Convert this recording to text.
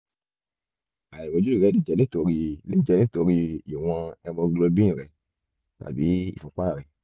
àìrọ́jú rẹ lè jẹ́ nítorí lè jẹ́ nítorí ìwọ̀n hemoglobin rẹ tàbí ìfúnpá rẹ